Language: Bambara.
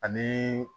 Ani